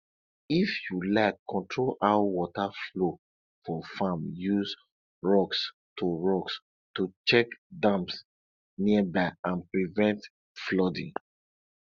if you like control how water flow for farm use rocks to rocks to check dams nearby and prevent flooding